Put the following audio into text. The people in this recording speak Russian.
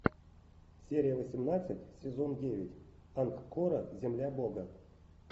серия восемнадцать сезон девять ангкора земля бога